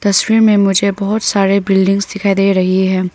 तस्वीर में मुझे बहुत सारे बिल्डिंग्स दिखाई दे रही है।